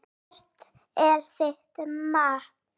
Hvert er þitt mat?